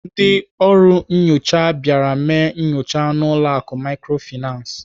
Ndị ọrụ nnyocha bịara mee nyocha n'ụlọ akụ Microfinance.